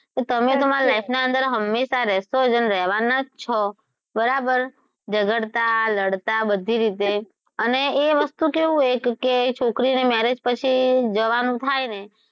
તમે તો મારા life ના અંદર હમેશાં રહેશો જ અને રહેવાના જ છો બરાબર ઝગડતા, લડતા બધી જ રીતે અને એ વસ્તુ કેવું હોય કે છોકરીઑ marriage પછી જવાનું થાય ને,